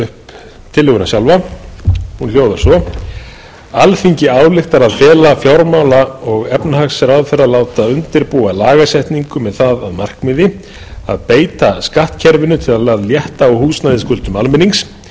upp tillöguna sjálfa alþingi ályktar að fela fjármála og efnahagsráðherra að láta undirbúa lagasetningu með það að markmiði að beita skattkerfinu til að létta á húsnæðisskuldum almennings á þann